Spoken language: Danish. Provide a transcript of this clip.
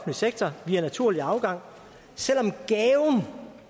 sektor via naturlig afgang selv om gaven